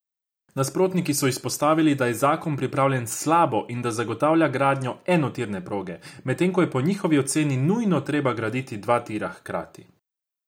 Nasprotniki so izpostavili, da je zakon pripravljen slabo in da zagotavlja gradnjo enotirne proge, medtem ko je po njihovi oceni nujno treba graditi dva tira hkrati.